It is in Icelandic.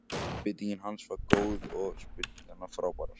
Einbeitingin hans var góð og spyrnurnar frábærar.